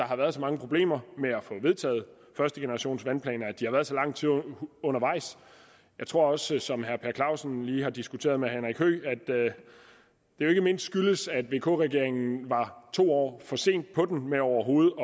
har været så mange problemer med at få vedtaget førstegenerationsvandplanerne og at de har været så lang tid undervejs jeg tror også som herre per clausen lige har diskuteret med at det jo ikke mindst skyldes at vk regeringen var to år for sent på den med overhovedet